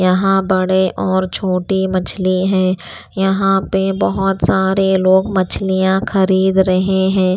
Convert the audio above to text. यहाँ बड़े और छोटी मछली हैं यहाँ पे बहुत सारे लोग मछलियां खरीद रहे हैं।